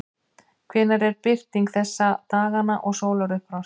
hvenær er birting þessa dagana og sólarupprás